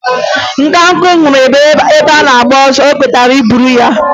Nkakwụ hụrụ egbe na-agba ọsọ egbe o kwetara iburu ya?